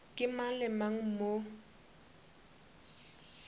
ke mang le mang mo